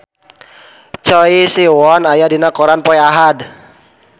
Choi Siwon aya dina koran poe Ahad